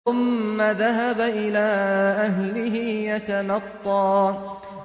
ثُمَّ ذَهَبَ إِلَىٰ أَهْلِهِ يَتَمَطَّىٰ